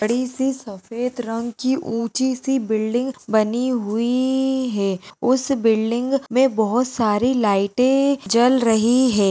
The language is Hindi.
बड़ी सी सफेद रंग की ऊंची सी बिल्डिंग बनी हुईई-- है। उस बिल्डिंग में बहुत सारी लाइटें जल रही है।